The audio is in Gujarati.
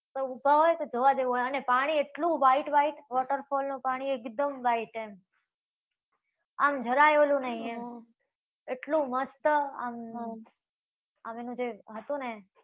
બધા ઉભા હોય ને એ જોવા જેવુ હોય. અને પાણી એટલુ white white waterfall નું પાણી એકદમ white એમ! આમ જરાય ઓલુ નઈ એમ. એટલુ મસ્ત આમ. આમ જે હતુ ને,